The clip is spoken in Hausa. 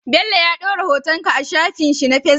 Bello ya dora hoton ka a shafin shi na facebook